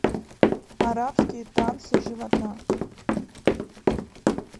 арабские танцы живота